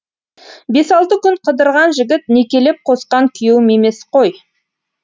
бес алты күн қыдырған жігіт некелеп қосқан күйеуім емес қой